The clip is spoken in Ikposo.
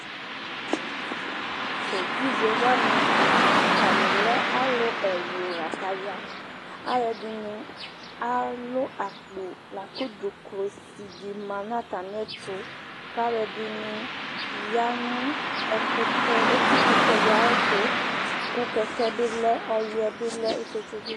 Tʋ evidze wani, atani lɛ alu ɛwlʋ lakʋ aya Alu ɛdɩnɩ alʋ akpo, lakʋ dzʋklɔsi di ma nʋ atami ɛtʋ Kʋ alu ɛdɩnɩ aya nʋ etikʋtɛ di ayʋ ɛtʋ Kʋ kɛkɛ bɩ lɛ, ɔyʋɛ bɩ lɛ ifiotso bɩ